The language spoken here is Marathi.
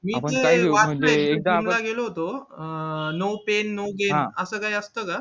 मी सुद्धा गेलो होतो अं no pain no gain असं काय असतं का